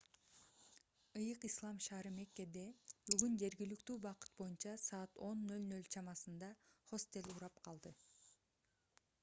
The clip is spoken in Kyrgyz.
ыйык ислам шаары меккеде бүгүн жергиликтүү убакыт боюнча саат 10:00 чамасында хостел урап калды